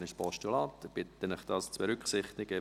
Ich bitte Sie, das bei Ihren Voten zu berücksichtigen.